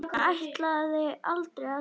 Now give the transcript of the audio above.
Hann ætlaði aldrei að sofna.